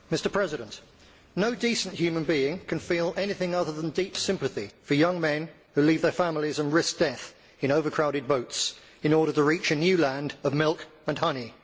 Mr President, no decent human being can feel anything other than deep sympathy for young men who leave their families and risk death in overcrowded boats in order to reach a new land of milk and honey.